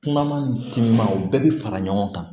Kuma ma ni timinanw bɛɛ bi fara ɲɔgɔn kan